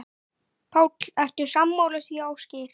Páll: Ertu sammála því, Ásgeir?